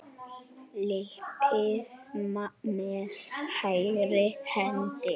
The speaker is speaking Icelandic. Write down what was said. litið með hægri hendi.